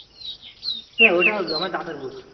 হ্যাঁ ওইটা আমার দাদার বুট।